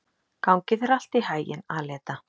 Gangi þér allt í haginn, Aleta.